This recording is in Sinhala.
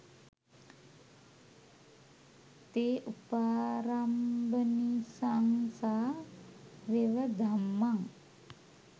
තෙ උපාරම්භනිසංසා වෙව ධම්මං